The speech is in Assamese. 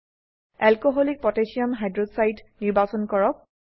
এলকোহলিক পটাসিয়াম হাইক্সাইড alcকহ নিৰ্বাচন কৰক